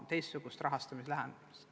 Riina Sikkut, palun!